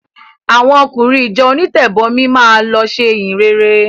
Àwọn ọkùnrin ìjọ onítẹ̀bọmi máa lọ ṣe ìhìnrere.